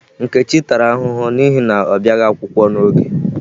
Nkechi tara ahụhụ n'ihi na ọ bịaghi akwụkwọ n'oge.